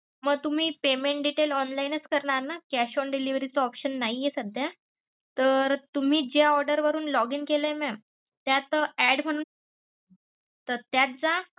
मग तुम्ही payment detail online च करणार ना cash on delivery चा option नाही सध्या तर तुम्ही ज्या order वरून login केलं mam त्यात add म्हुणुन तर त्यात जा.